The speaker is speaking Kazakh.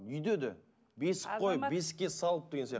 үйде де бесік қойып бесікке салып деген сияқты